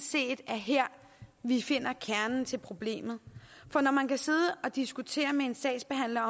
set er her vi finder kernen til problemet for når man kan sidde og diskutere med en sagsbehandler